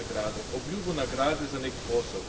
Ne nagrado, obljubo nagrade za nek posel.